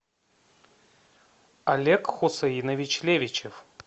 олег хусейнович левичев